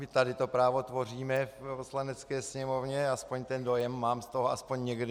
My tady to právo tvoříme v Poslanecké sněmovně, aspoň ten dojem mám z toho aspoň někdy.